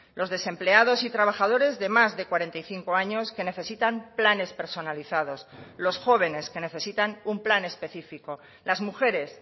los desempleados y trabajadores de más de cuarenta y cinco años que necesitan planes personalizados los jóvenes que necesitan un plan específico las mujeres